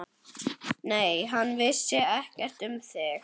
Nei, hann vissi ekkert um þig.